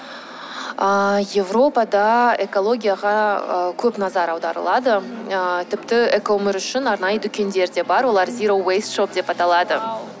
ыыы европада экологияға ы көп назар аударылады ыыы тіпті экоөмір үшін арнайы дүкендер де бар олар зероуэйсшоп деп аталады